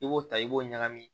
I b'o ta i b'o ɲagami